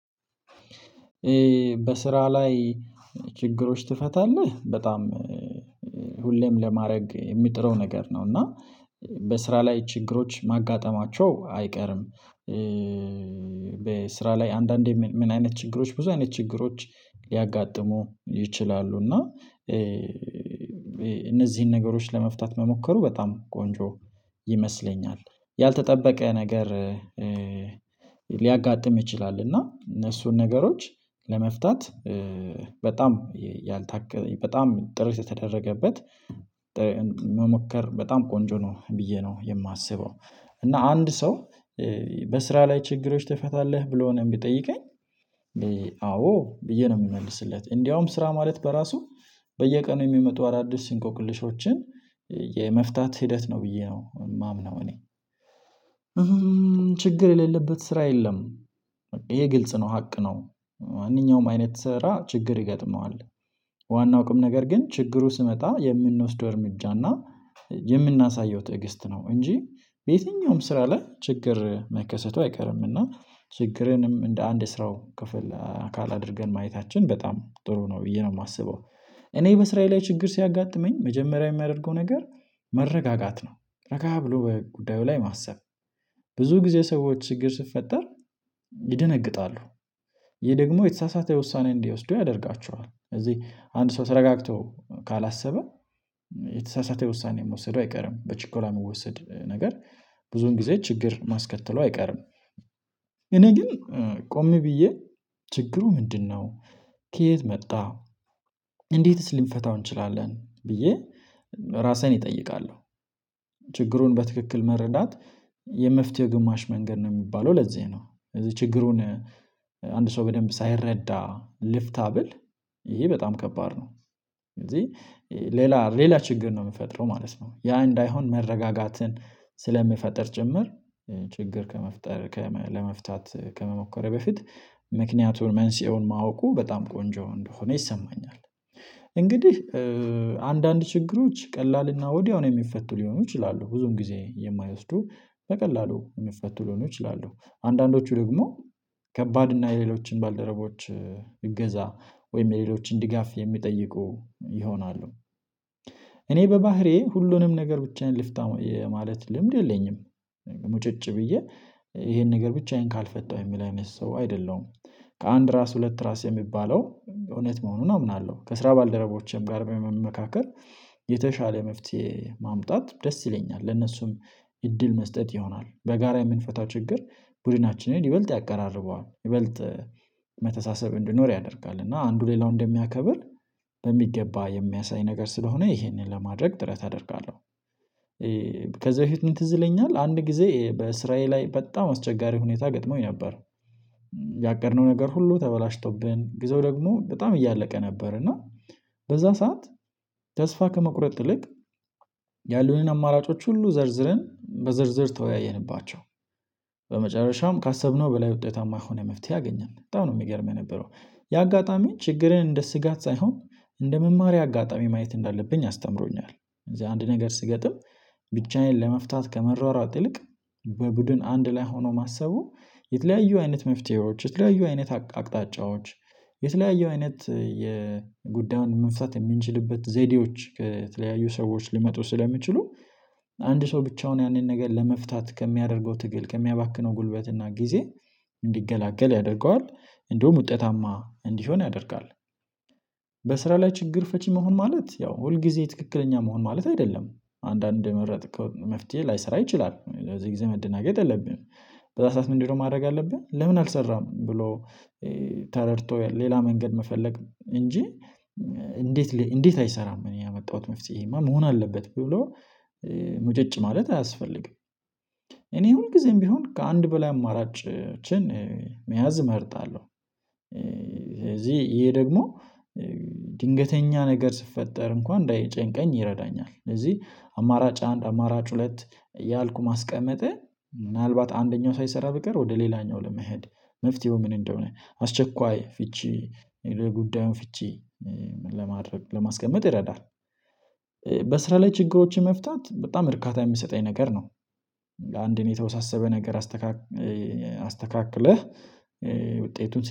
በስራ ላይ ችግሮች ትፈታለህ በጣም ሁሌም ለማድረግ የሚጥረው ነገር ነው። እና በስራ ላይ ችግሮች ማጋጠማቸው አይቀርም። በስራ ላይ አንዳንዴ ምን አይነት ችግሮች ብዙ አይነት ችግሮች ሊያጋጥሙ ይችላሉ። እና እነዚህን ነገሮች ለመፍታት መሞከሩ በጣም ቆንጆ ይመስለኛል። ያልተጠበቀ ነገር። ሊያጋጥም ይችላል እና እነሱን ነገሮች ለመፍታት በጣም ያልታከመ በጣም ጥረት የተደረገበት መሞከር በጣም ቆንጆ ነው ብዬ ነው የማስበው። እና አንድ ሰው በስራ ላይ ችግሮች ትፈታለህ ብሎ ነው የሚጠይቀኝ። አዎ ብዬ ነው የምመልስለት እንዲያውም ስራ ማለት በራሱ በየቀኑ የሚመጡ አዳዲስ እንቆቅልሾችን የመፍታት ሂደት ነው ብዬ ነው የማምነው። እኔ ችግር የሌለበት ስራ የለም። ይሄ ግልጽ ነው ሀቅ ነው። ማንኛውም አይነት ስራ ችግር ይገጥመዋል። ዋናው ቁም ነገር ግን ችግሩ ሲመጣ የምንወስደው እርምጃና የምናሳየው ትዕግስት ነው። እንጂ በየትኛውም ስራ ላይ ችግር መከሰቱ አይቀርምና እና ችግርንም እንደ አንድ ስራው ክፍል አካል አድርገን ማየታችን በጣም ጥሩ ነው ብዬ ነው የማስበው። እኔ በስራዬ ላይ ችግር ሲያጋጥመኝ መጀመሪያ የማደርገው ነገር መረጋጋት ነው። ረጋ ብሎ በጉዳዩ ላይ ማሰብ ብዙ ጊዜ ሰዎች ችግር ሲፈጠር ይደነግጣሉ። ይሄ ደግሞ የተሳሳተ ውሳኔ እንዲወስዱ ያደርጋችኋል። እዚህ አንድ ሰው ተረጋግቶ ካላሰበ የተሳሳተ ውሳኔ መውሰዱ አይቀርም። በችኮላ የሚወሰድ ነገር ብዙን ጊዜ ችግር ማስከተሉ አይቀርም። እኔ ግን ቆም ብዬ ችግሩ ምንድነው? ከየት መጣ? እንዴትስ ልንፈታው እንችላለን ብዬ ራሴን እጠይቃለሁ። ችግሩን በትክክል መረዳት የመፍትሄ ግማሽ መንገድ ነው የሚባለው ለዚህ ነው። እዚህ ችግሩን አንድ ሰው በደንብ ሳይረዳ ልፍታ ቢል ይሄ በጣም ከባድ ነው። ስለዚህ ሌላ ሌላ ችግር ነው ሚፈጥረው ማለት ነው። ያ እንዳይሆን መረጋጋትን ስለሚፈጥር ጭምር ችግር ከመፍጠር ለመፍታት ከመሞከር በፊት ምክንያቱን መንስኤውን ማወቁ በጣም ቆንጆ እንደሆነ ይሰማኛል። እንግዲህ አንዳንድ ችግሮች ቀላልና ወዲያው ነው የሚፈቱ ሊሆኑ ይችላሉ ብዙም ጊዜ የማይወስዱ በቀላሉ የሚፈቱ ሊሆኑ ይችላሉ። አንዳንዶቹ ደግሞ ከባድ እና የሌሎችን ባልደረቦች እገዛ ወይም የሌሎችን ድጋፍ የሚጠይቁ ይሆናሉ። እኔ በባህሪዬ ሁሉንም ነገር ብቻዬን ልፍታው የማለት ልምድ የለኝም። ምጭጭ ብዬ ይሄን ነገር ብቻዬን ካልፈታሁ የሚል አይነት ሰው አይደለሁም። ከአንድ ራስ ሁለት ራስ የሚባለው እውነት መሆኑን አምናለሁ። ከስራ ባልደረቦቼም ጋር በመመካከር የተሻለ መፍትሄ ማምጣት ደስ ይለኛል። ለነሱም እድል መስጠት ይሆናል። በጋራ የምንፈታው ችግር ቡድናችንን ይበልጥ ያቀራርበዋል። ይበልጥ ይሄ መተሳሰብ እንዲኖር ያደርጋል እና አንዱ ሌላውን እንደሚያከብር በሚገባ የሚያሳይ ነገር ስለሆነ ይሄንን ለማድረግ ጥረት አደርጋለሁ። ከዛ በፊት ምን ትዝ ይለኛል አንድ ጊዜ በስራዬ ላይ በጣም አስቸጋሪ ሁኔታ ገጥሞኝ ነበር። ያቀድነው ነገር ሁሉ ተበላሽቶብን ጊዜው ደግሞ በጣም እያለቀ ነበር። እና በዛን ሰዓት ተስፋ ከመቁረጥ ይልቅ ያሉንን አማራጮች ሁሉ ዘርዝረን በዝርዝር ተወያየንባቸው። በመጨረሻም ካሰብነው በላይ ውጤታማ የሆነ መፍትሄ አገኘን። በጣም ነው የሚገርም የነበረው አጋጣሚ ችግርን እንደ ስጋት ሳይሆን እንደ መማሪያ አጋጣሚ ማየት እንዳለብኝ አስተምሮኛል። እዚህ አንድ ነገር ሲገጥም ብቻዬን ለመፍታት ከመሯሯጥ ይልቅ በቡድን አንድ ላይ ሆኖ ማሰቡ የተለያዩ አይነት መፍትሄዎች የተለያዩ አይነት አቅጣጫዎች የተለያዩ አይነት የጉዳዩን መፍታት የምንችልበት ዘዴዎች ከተለያዩ ሰዎች ሊመጡ ስለሚችሉ አንድ ሰው ብቻውን ያንን ነገር ለመፍታት ከሚያደርገው ትግል ከሚያባክነው ጉልበት እና ጊዜ እንዲገላገል ያደርገዋል እንዲሁም ውጤታማ እንዲሆን ያደርጋል። በስራ ላይ ችግር ፈቺ መሆን ማለት ያው ሁል ጊዜ ትክክለኛ መሆን ማለት አይደለም። አንዳንድ እንደመረጥከው መፍትሄ ላይሰራ ይችላል በዚህ ጊዜ መደናገጥ የለብህም። በዛ ሰዓት ምንድነው ማድረግ አለብን? ለምን አልሰራም? ብሎ ተረድቶ ሌላ መንገድ መፈለግ እንጂ እንዴት እንዴት አይሰራም እኔ ያመጣሁት መፍትሄማ መሆን አለበት ብሎ ሙጭጭ ማለት አያስፈልግም። እኔ ሁልጊዜም ቢሆን ከአንድ በላይ አማራጭችን እመርጣለሁ። ስለዚህ ይሄ ደግሞ ድንገተኛ ነገር ሲፈጠር እንኳን እንዳይጨንቀኝ ይረዳኛል። ስለዚህ አማራጭ አንድ አማራጭ ሁለት እያልኩ ማስቀመጤ ምናልባት አንደኛው ሳይሰራ ቢቀር ወደ ሌላኛው ለመሄድ መፍትሄው ምን እንደሆነ አስቸኳይ ፍቺ የጉዳዩን ፍቺ ለማድረግ ለማስቀመጥ ይረዳል። በስራ ላይ ችግሮችን መፍታት በጣም እርካታ የሚሰጠኝ ነገር ነው። አንድን የተወሳሰበ ነገር አስተካክለ አስተካክለህ ውጤቱን